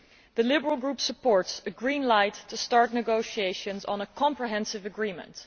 The Liberal Group supports a green light to start negotiations on a comprehensive agreement.